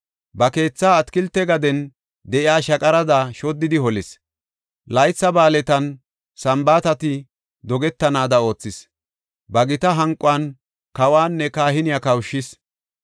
Ba keetha atakilte gaden de7iya shaqarada shoddidi holis; laytha ba7aaletinne Sambaatati dogetanaada oothis; ba gita hanquwan kawanne kahiniya kawushis.